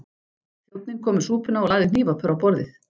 Þjónninn kom með súpuna og lagði hnífapör á borðið.